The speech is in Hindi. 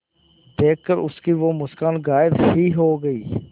देखकर उसकी वो मुस्कान गायब ही हो गयी